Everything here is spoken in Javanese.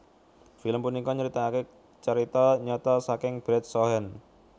Film punika nyritake carita nyata saking Brad Cohen